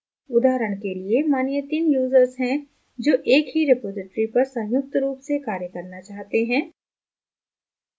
उदाहरण के लिए मानिए तीन users हैं जो एक ही रिपॉज़िटरी पर संयुक्त रूप से कार्य करना चाहते हैं